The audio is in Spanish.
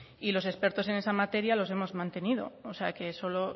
y los expertos en esa materia los hemos mantenido o sea que solo